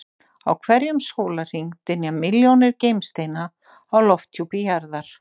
Á hverjum sólarhring dynja milljónir geimsteina á lofthjúpi jarðar.